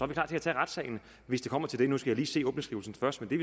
klar til at tage retssagen hvis det kommer til det nu skal jeg lige se åbningsskrivelsen først men